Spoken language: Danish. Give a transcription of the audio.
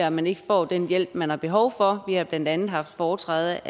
at man ikke får den hjælp man har behov for vi har blandt andet haft foretræde